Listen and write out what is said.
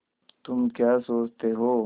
तुम क्या सोचते हो